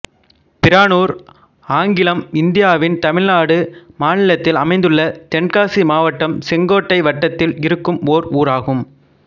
பிரானூர் ஆங்கிலம் இந்தியாவின் தமிழ்நாடு மாநிலத்தில் அமைந்துள்ள தென்காசி மாவட்டம் செங்கோட்டை வட்டத்தில் இருக்கும் ஒரு ஊர் ஆகும்